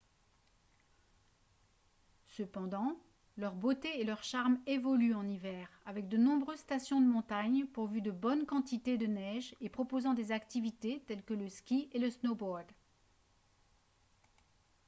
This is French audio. cependant leur beauté et leur charme évoluent en hiver avec de nombreuses stations de montagne pourvues de bonnes quantités de neige et proposant des activités telles que le ski et le snowboard